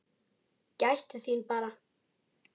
Gættu þín bara!